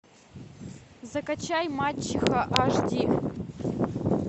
закачай мачеха аш ди